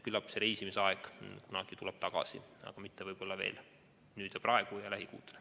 Küllap see reisimise aeg tuleb kunagi tagasi, aga võib-olla mitte veel nüüd, lähikuudel.